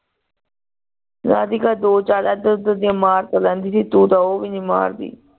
ਰਾਧਿਕਾ ਦੋ ਚਾਰ ਏਧਰ ਓਧਰ ਦੀਆ ਮਾਰਦੀ ਤੂ ਤ ਓਵ ਨਹੀਂ ਮਾਰਦੀ